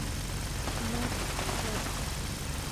норс шор